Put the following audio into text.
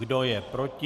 Kdo je proti?